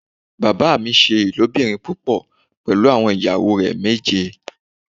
Bàbá mi ṣe ilobirin púpọ̀ pẹlú àwọn ìyàwó rẹ méje.